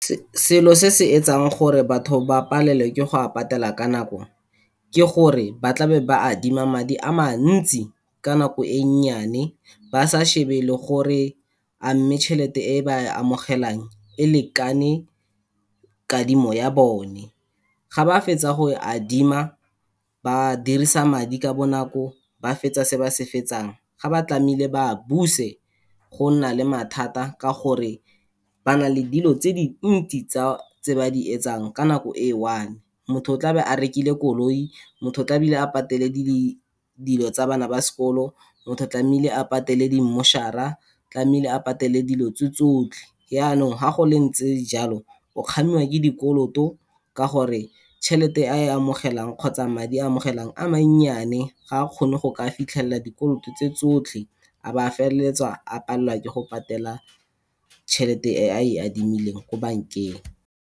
Selo se se etsang gore batho ba palelwe ke go a patela ka nako, ke gore ba tlabe ba adima madi amantsi ka nako e nnyane, ba sa shebe le gore amme chelete e ba e amogelang, e lekane kadimo ya bone. Ga ba fetsa go e adima, ba dirisa madi ka bonako ba fetsa se ba se fetsang, ga ba tlamehile ba buse go nna le mathata ka gore ba na le dilo tse dintsi tsa, tse ba di etsang ka nako e one-e. Motho o tlabe a rekile koloi, motho tlamehile a patele le dilo tsa bana ba sekolo, motho tlamehile a patele di mmošhara, a tlamehile a patele dilo tse tsotlhe. Yanong ga go ntse jalo, o kgamiwa ke dikoloto ka gore tšhelete e a e amogelang, kgotsa madi a amogelang a mannyane ga kgone go ka fitlhelela dikoloto tse tsotlhe, a ba a feleletsa a palelwa ke go patela chelete e a e adimileng ko bankeng.